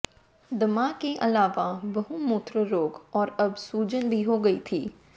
दमा के अलावा बहुमूत्र रोग और अब सूजन भी हो गई थी